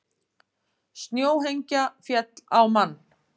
Snjóhengja féll á mann